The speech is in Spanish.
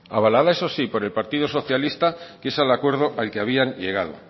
avalada eso sí por el partido socialista que es el acuerdo al que habían llegado